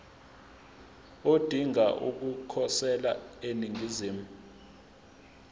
odinga ukukhosela eningizimu